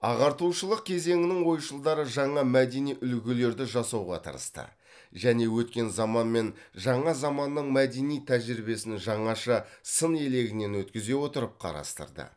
ағартушылық кезеңінің ойшылдары жаңа мәдени үлгілерді жасауға тырысты және өткен заман мен жаңа заманның мәдени тәжірибесін жаңаша сын елегінен өткізе отырып қарастырды